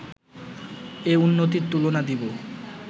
এ উন্নতির তুলনা দিব